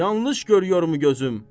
Yanlış görüyor mu gözüm?